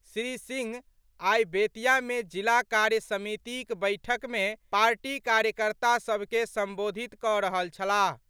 श्री सिंह आइ बेतिया मे जिला कार्य समितिक बैसक मे पार्टी कार्यकर्ता सभ के संबोधित कऽ रहल छलाह।